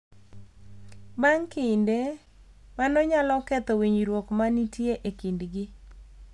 Bang’ kinde, mano nyalo ketho winjruok ma nitie e kindgi